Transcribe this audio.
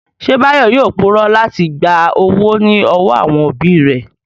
Ṣé Báyọ̀ yóò purọ́ láti gba owó ní ọwọ́ àwọn òbí rẹ̀?